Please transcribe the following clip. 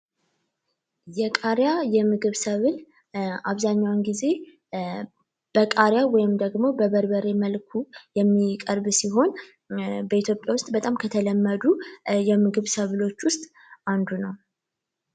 የቃሪያ የምግብ ሰብል አብዛኛውን ጊዜ በቃሪያ ወይም ደግሞ በበርበሬ መልኩ የሚቀርብ ሲሆን በኢትዮጵያ ውስጥ በጣም ከተለመዱ የምግብ ሰብሎች ውሰጥ አንዱ ነው።